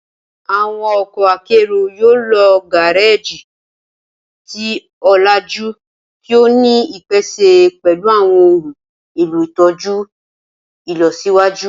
Awọn ọkọ akero yoo lo gareji ti olaju ti o ni ipese pẹlu awọn ohun elo itọju ilọsiwaju.